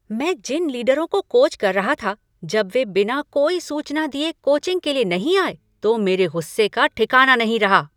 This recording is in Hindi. मैं जिन लीडरों को कोच कर रहा था, जब वे बिना कोई सूचना दिए कोचिंग के लिए नहीं आए तो मेरे गुस्से का ठिकाना नहीं रहा।